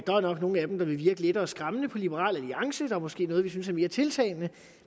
der er nok nogle af dem der vil virke lettere skræmmende på liberal alliance der er måske noget som vi synes er mere tiltalende